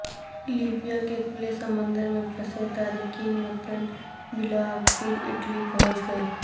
Libya کے کھلے سمندر میں پھنسے تارکین وطن بالاخر اٹلی پہنچ گئے